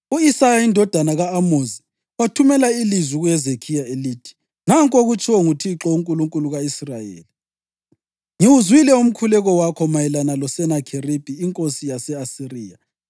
U-Isaya indodana ka-Amozi wathumela ilizwi kuHezekhiya elithi: “Nanku okutshiwo nguThixo, uNkulunkulu ka-Israyeli: Ngiwuzwile umkhuleko wakho mayelana loSenakheribhi inkosi yase-Asiriya.